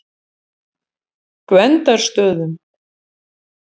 Gvendarstöðum